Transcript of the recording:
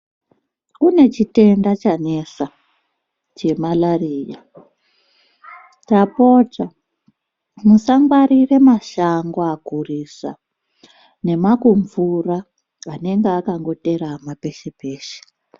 Kune chitenda chanesa, chemarariya. Tapota, musangwarire mashango akurisa nemakumvura anenga akangoterama peshe peshe.